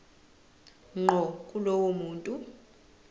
ngqo kulowo muntu